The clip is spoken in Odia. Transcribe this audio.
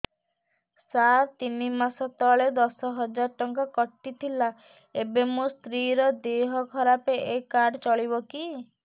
ସାର ତିନି ମାସ ତଳେ ଦଶ ହଜାର ଟଙ୍କା କଟି ଥିଲା ଏବେ ମୋ ସ୍ତ୍ରୀ ର ଦିହ ଖରାପ ଏ କାର୍ଡ ଚଳିବକି